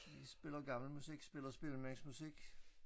Vi spiller gammel musik spiller spillemandsmusik